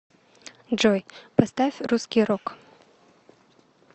джой поставь русский рок